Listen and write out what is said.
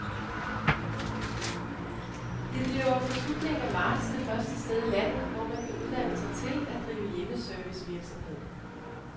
Det bliver fra slutningen af marts det første sted i landet, hvor man kan uddanne sig til at drive hjemmeservicevirksomhed.